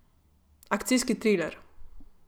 Akcijski triler.